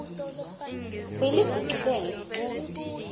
beligucubele